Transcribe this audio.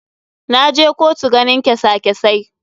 Na je kotu ganin kesa kesai.